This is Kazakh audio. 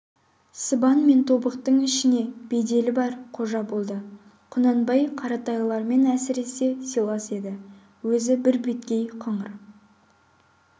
сыбан мен тобықты ішіне беделі бар қожа болды құнанбай қаратайлармен әсіресе сыйлас еді өзі бірбеткей қыңыр